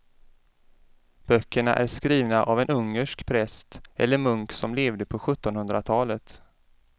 Böckerna är skrivna av en ungersk präst eller munk som levde på sjuttonhundratalet.